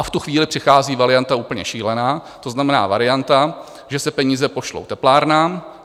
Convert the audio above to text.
A v tu chvíli přichází varianta úplně šílená, to znamená, varianta, že se peníze pošlou teplárnám.